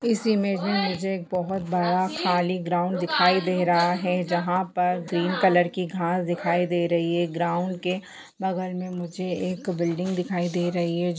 इस इमेज में मुझे एक बहुत बड़ा खाली ग्राउंड दिखाई दे रहा है जहा पर ग्रीन कलर की घास दिखाई दे रही है ग्राउड़ के बगल में मुझे एक बिल्डिग दिखाई दे रही है।